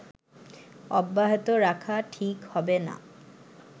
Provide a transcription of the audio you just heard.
অব্যাহত রাখা ঠিক হবেনা”